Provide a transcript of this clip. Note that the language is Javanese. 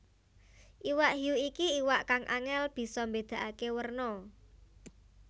Iwak hiu iki iwak kang angèl bisa mbédakaké werna